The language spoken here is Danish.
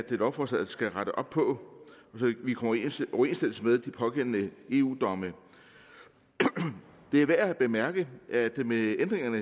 lovforslaget skal rette op på så vi kommer i overensstemmelse med de pågældende eu domme det er værd at bemærke at der med ændringerne